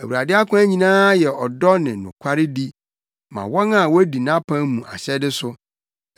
Awurade akwan nyinaa yɛ ɔdɔ ne nokwaredi ma wɔn a wodi nʼapam mu ahyɛde so.